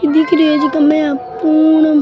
दिख री है जिमे एक --